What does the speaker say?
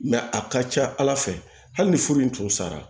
a ka ca ala fɛ hali ni furu in tun sara